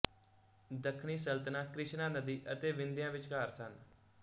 ਦੱਖਣੀ ਸਲਤਨਤਾਂ ਕ੍ਰਿਸ਼ਨਾ ਨਦੀ ਅਤੇ ਵਿੰਧਿਆ ਵਿਚਕਾਰ ਸਨ